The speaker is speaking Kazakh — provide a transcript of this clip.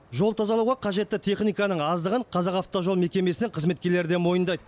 жол тазалауға қажетті техниканың аздығын қазақавтожол мекемесінің қызметкерлері де мойындайды